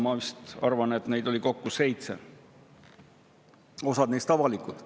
Ma arvan, et neid oli kokku seitse, osa neist avalikud.